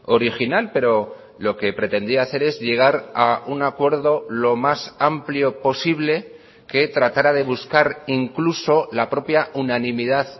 original pero lo que pretendía hacer es llegar a un acuerdo lo más amplio posible que tratara de buscar incluso la propia unanimidad